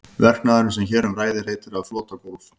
Verknaðurinn sem hér um ræður heitir að flota gólf.